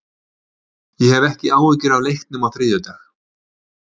Ég hef ekki áhyggjur af leiknum á þriðjudag.